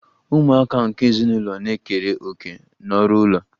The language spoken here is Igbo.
Ụmụaka nke ezinụlọ na-ekere òkè n'ọrụ ụlọ